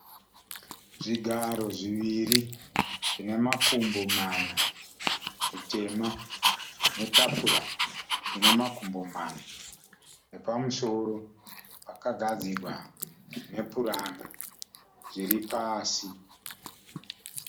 Zvigaro zviviri zvine makumbi mana zvitema netafura ine makumbo mana . Nepamusoro pakagadzigwa nepuranga zviripasi.